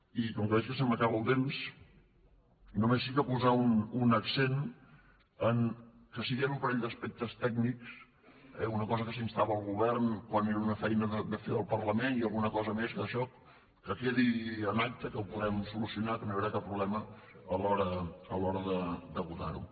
i com que veig que se m’acaba el temps només sí que posar un accent en el fet que sí que hi han un parell d’aspectes tècnics eh una cosa a què s’instava el govern quan era una feina de fer el parlament i alguna cosa més d’això que quedi en acta que ho podem solucionar que no hi haurà cap problema a l’hora de votar ho